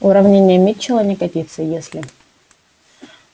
уравнение митчелла не годится если